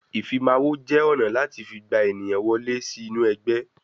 Ìfimawo jẹ́ ọ̀nà láti fi gba ènìyàn wọlé sí inú ẹgbẹ́